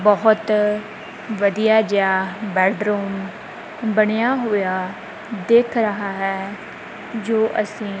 ਬਹੁਤ ਵਧੀਆ ਜਿਹਾ ਬੇਡਰੂਮ ਬਣਿਆ ਹੋਇਆ ਦਿਖ ਰਹਾ ਹੈ ਜੋ ਅਸੀ--